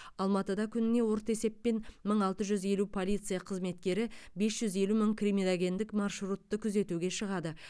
алматыда күніне орта есеппен мың алты жүз елу полиция қызметкері бес жүз елу мың криминогендік маршрутты күзетуге шығады